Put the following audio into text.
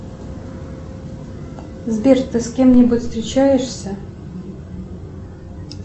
сбер ты с кем нибудь встречаешься